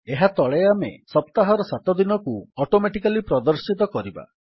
ଏହା ତଳେ ଆମେ ସପ୍ତାହର ସାତ ଦିନକୁ ଅଟୋମେଟିକାଲୀ ପ୍ରଦର୍ଶିତ କରିବା